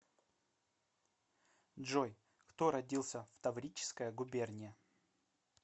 джой кто родился в таврическая губерния